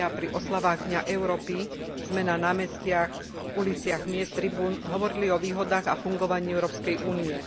mája pri oslavách dňa Európy sme na námestiach, uliciach miest a na tribúnach hovorili o výhodách a fungovaní Európskej únie.